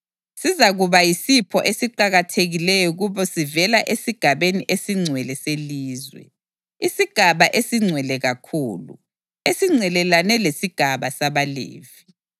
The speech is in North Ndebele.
Sizakuba yisipho esiqakathekileyo kubo sivela esigabeni esingcwele selizwe, isigaba esingcwele kakhulu, esingcelelane lesigaba sabaLevi.